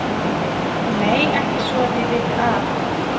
Nei ekki svo að ég viti af.